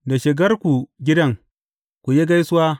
Da shigarku gidan, ku yi gaisuwa.